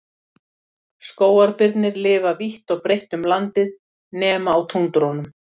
Skógarbirnir lifa vítt og breytt um landið nema á túndrunum.